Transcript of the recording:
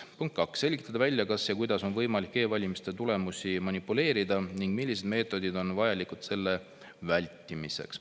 Punkt 2, selgitada välja, kas kuidas on võimalik e-valimiste tulemustega manipuleerida ning millised meetodid on vajalikud selle vältimiseks.